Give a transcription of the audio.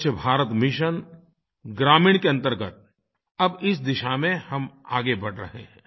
स्वच्छ भारत मिशन ग्रामीण के अंतर्गत अब इस दिशा में हम आगे बढ़ रहे हैं